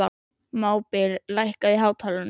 Mábil, lækkaðu í hátalaranum.